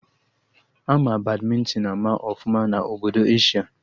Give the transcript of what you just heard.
Ama Badmịntịn ama ọfụma na Obodo Asia